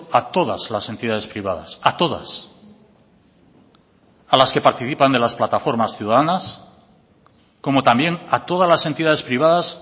a todas las entidades privadas a todas a las que participan de las plataformas ciudadanas como también a todas las entidades privadas